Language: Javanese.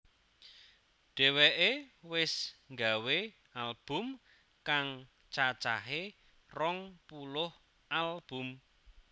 Dheweke wis nggawé album kang cacahé rong puluh album